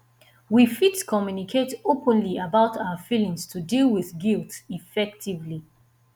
we fit communicate openly about our feelings to deal with guilt effectively